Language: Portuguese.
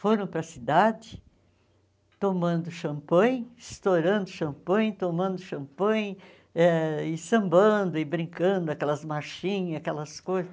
Foram para a cidade tomando champanhe, estourando champanhe, tomando champanhe, eh e sambando e brincando, aquelas marchinhas, aquelas coisas.